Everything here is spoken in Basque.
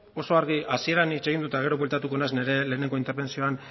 oso argi hasieran hitz egin dut eta gero bueltatuko naiz nire lehenengo interbentzioan